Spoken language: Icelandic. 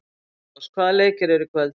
Heiðrós, hvaða leikir eru í kvöld?